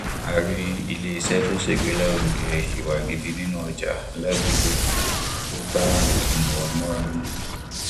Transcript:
a rí ilé iṣẹ tó ṣègbélárugẹ ìwà gidi nínú ọjà ládùúgbò tó bá ọnà wa múra mu